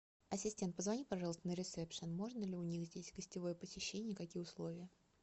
ассистент позвони пожалуйста на ресепшн можно ли у них здесь гостевое посещение какие условия